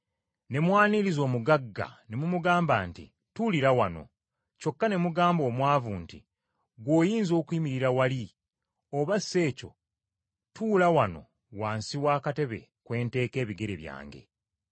ne mwaniriza omugagga, ne mumugamba nti, “Tuulira wano kyokka ne mugamba omwavu nti ggwe oyinza okuyimirira wali, oba si ekyo tuula wano wansi w’akatebe kwe nteeka ebigere byange,”